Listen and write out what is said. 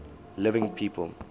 living people